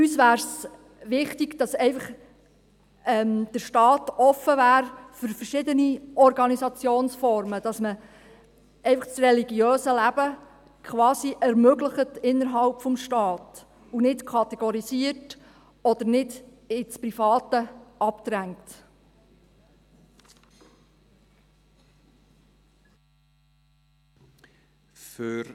Uns wäre es wichtig, dass der Staat offen für verschiedene Organisationsformen wäre, dass das religiöse Leben innerhalb des Staates ermöglicht wird und dass dieses nicht kategorisiert oder ins Private abgedrängt wird.